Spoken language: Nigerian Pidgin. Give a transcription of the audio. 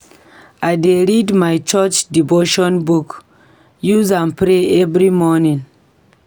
I dey read my church devotion book, use am pray every morning.